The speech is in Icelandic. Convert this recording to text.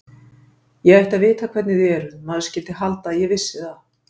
Ég ætti að vita hvernig þið eruð, maður skyldi halda að ég vissi það.